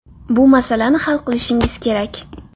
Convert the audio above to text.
Bu masalani hal qilishingiz kerak”.